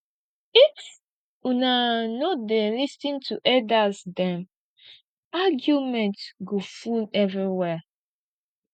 if una no dey lis ten to elders dem argument go full everywhere